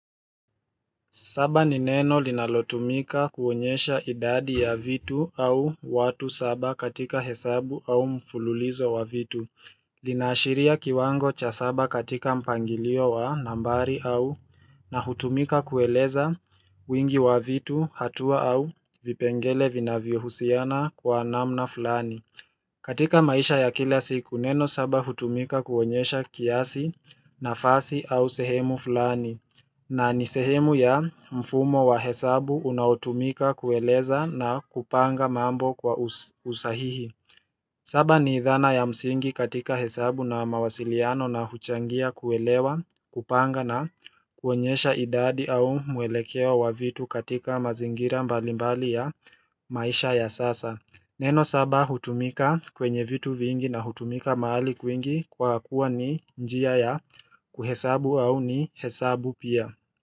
Saba ni neno linalotumika kuonyesha idadi ya vitu au watu saba katika hesabu au mfululizo wa vitu. Linaashiria kiwango cha saba katika mpangilio wa nambari au na hutumika kueleza wingi wa vitu hatua au vipengele vinavyohusiana kwa namna fulani. Katika maisha ya kila siku, neno saba hutumika kuonyesha kiasi nafasi au sehemu fulani. Na ni sehemu ya mfumo wa hesabu unaotumika kueleza na kupanga mambo kwa usahihi. Saba ni dhana ya msingi katika hesabu na mawasiliano na huchangia kuelewa, kupanga na kuonyesha idadi au mwelekeo wa vitu katika mazingira mbalimbali ya maisha ya sasa. Neno saba hutumika kwenye vitu vingi na hutumika mahali kwingi kwa kuwa ni njia ya kuhesabu au ni hesabu pia.